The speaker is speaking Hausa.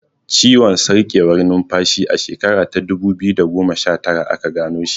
Ciwon sarkewar numfashi a shekara ta dubu biyu da goma shatara aka gano shi.